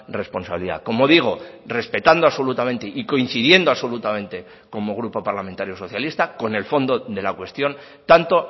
responsabilidad como digo respetando absolutamente y coincidiendo absolutamente como grupo parlamentario socialista con el fondo de la cuestión tanto